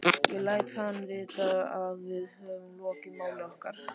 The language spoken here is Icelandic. Ég læt hann vita, að við höfum lokið máli okkar.